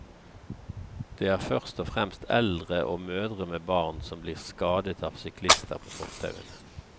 Det er først og fremst eldre og mødre med barn som blir skadet av syklister på fortauene.